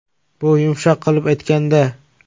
Bu yumshoq qilib aytganda.